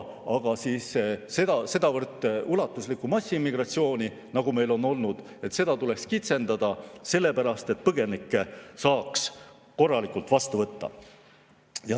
Aga sedavõrd ulatuslikku massiimmigratsiooni, nagu meil on olnud, tuleks kitsendada, et põgenikke saaks korralikult vastu võtta.